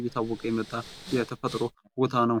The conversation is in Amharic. እየታወቀ የመጣ የተፈጥሮ ቦታ ነው ።